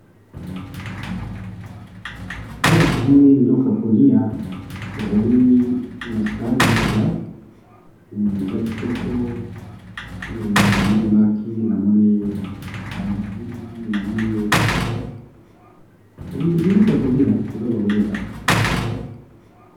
Awa tomoni bikolo ya kolia ezali na sani penza eza kitoko na moni maki ba legime biloko ya kolia